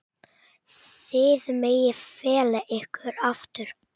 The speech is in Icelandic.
Þið megið fela ykkur aftur.